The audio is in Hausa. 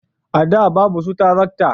a da babu su tarakta